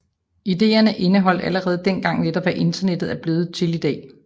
Ideerne indeholdt allerede dengang netop hvad Internettet er blevet til i dag